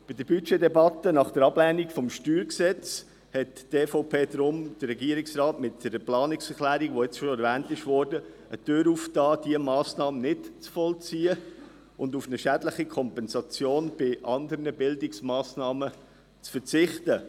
Deshalb hat die EVP dem Regierungsrat bei der Budgetdebatte nach der Ablehnung des Steuergesetzes (StG) mit dieser Planungserklärung, die schon erwähnt worden ist, eine Tür geöffnet, um diese Massnahme nicht zu vollziehen und auf eine schädliche Kompensation bei anderen Bildungsmassnahmen zu verzichten.